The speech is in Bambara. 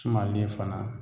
Sumalen fana